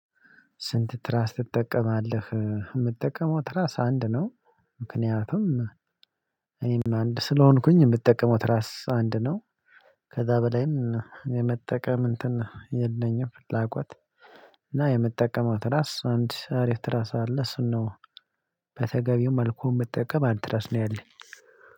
ስንት ትራስ ትጠቀማለህ? የምትጠቀመው ትራስ አንድ ነው ምክንያቱም እኔም አንድ ስለሆንኩኝ የምትጠቀመው ትራስ አንድ ነው ከዛ በላይም የመጠቀም እንትን የለኝም ፍላጎት እና የምትጠቀመው ትራስ አንድ አሪፍ ትራስ አለ እሱን ነው። በተገቢው መልኩ የምትጠቀም አንድ ትራስ ነው ያለኝ